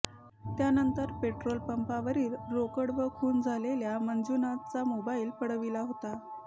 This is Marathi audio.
त्यानंतर पेट्रोल पंपावरील रोकड व खून झालेल्या मंजुनाथचा मोबाईल पळविला होता